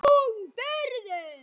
Það er þung byrði.